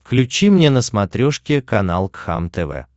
включи мне на смотрешке канал кхлм тв